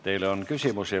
Teile on küsimusi.